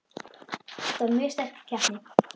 Þetta var mjög sterk keppni.